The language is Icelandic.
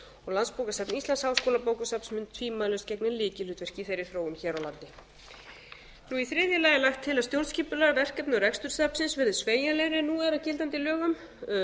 landsbókasafn íslands háskólabókasafn mun tvímælalaust gegna lykilhlutverki í þeirri þróun hér á landi í þriðja lagi er lagt til að stjórnskipulag verkefni og rekstur safnsins verði sveigjanlegri en nú er í gildandi lögum